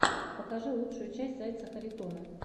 покажи лучшую часть зайца харитона